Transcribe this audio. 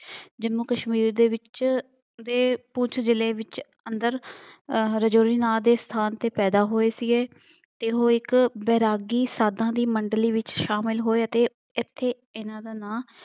ਜ਼ੰਮੂ ਕਸ਼ਮੀਰ ਦੇ ਵਿੱਚ ਦੇ ਪੁਣਛ ਜ਼ਿਲ੍ਹੇ ਦੇ ਵਿੱਚ ਅੰਦਰ ਅਹ ਰਾਜੌਰੀ ਨਾਂ ਦੇ ਸਥਾਂਨ ਤੇ ਪੈਦਾ ਹੋਏ ਸੀਗੇ। ਉਹ ਇੱਕ ਬੈਰਾਗੀ ਸਾਧਾਂ ਦੀ ਮੰਡਲੀ ਵਿੱਚ ਸ਼ਾਮਿਲ ਹੋਏ ਅਤੇ ਇੱਥੇ ਇਹਨਾ ਦਾ ਨਾਂ